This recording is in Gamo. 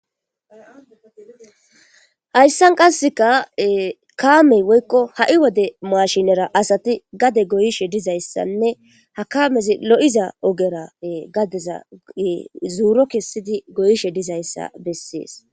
Hayssan qasseka kaamey woykko ha'i wode mashinera asati gade goyishe dizayssanne hakamezi lo'iza ogera gadeza zoro kessidi goyishe dizayssa bessees